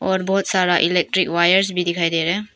और बहुत सारा इलेक्ट्रिक वायर्स भी दिखाई दे रहा।